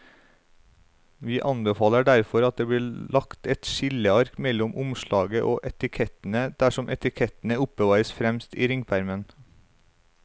Vi anbefaler derfor at det blir lagt et skilleark mellom omslaget og etikettene dersom etikettene oppbevares fremst i ringpermen.